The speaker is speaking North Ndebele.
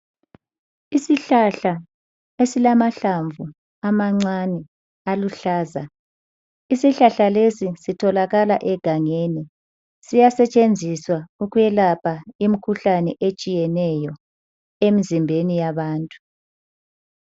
Isihlahla esilamahlamvu amancane aluhlaza. Isihlahla lesi sitholakala egangeni, siyasetshenziswa ukwelapha imkhuhlane etshiyeneyo emzimbeni yabantu.